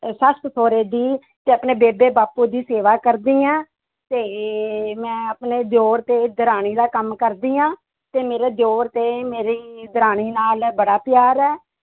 ਸੱਸ ਸਹੁਰੇ ਦੀ ਤੇ ਆਪਣੇ ਬੇਬੇ ਬਾਪੂ ਦੀ ਸੇਵਾ ਕਰਦੀ ਹਾਂ ਤੇ ਮੈਂ ਆਪਣੇ ਦਿਓਰ ਤੇ ਦਰਾਣੀ ਦਾ ਕੰਮ ਕਰਦੀ ਹਾਂ, ਤੇ ਮੇਰੇ ਦਿਓਰ ਤੇ ਮੇਰੀ ਦਰਾਣੀ ਨਾਲ ਬੜਾ ਪਿਆਰ ਹੈ।